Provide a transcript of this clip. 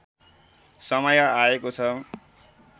समय आएको छ